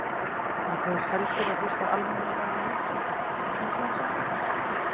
Hann kaus heldur að hlusta á almennilega músík eins og hann sagði.